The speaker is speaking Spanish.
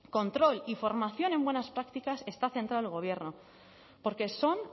control y formación en buenas prácticas está centrado el gobierno porque son